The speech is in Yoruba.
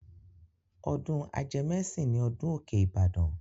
Ọdún ajẹmẹ́sìn ni ọdún Òkè Ìbàdàn.